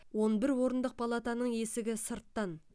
он бір орындық палатаның есігі сырттан